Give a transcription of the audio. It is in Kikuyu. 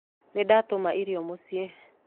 Nĩndatũma irio mũciĩ